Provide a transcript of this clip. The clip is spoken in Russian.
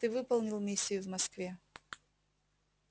ты выполнил миссию в москве